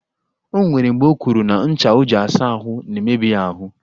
O nwere mgbe o kwuru na ncha o ji asa ahụ na-emebi ya ahụ